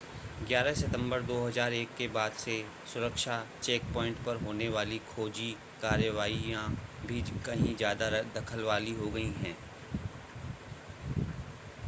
11 सितंबर 2001 के बाद से सुरक्षा चेकपॉइंट पर होने वाली खोजी कार्रवाइयां भी कहीं ज़्यादा दखल वाली हो गई हैं